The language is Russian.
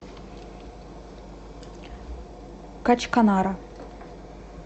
качканара